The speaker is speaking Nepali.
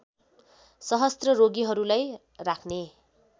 सहस्र रोगीहरूलाई राख्ने